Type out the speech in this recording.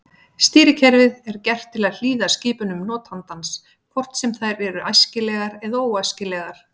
Stýrikerfið er gert til að hlýða skipunum notandans hvort sem þær eru æskilegar eða óæskilegar.